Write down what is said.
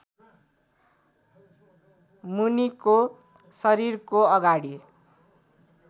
मुनिको शरीरको अगाडि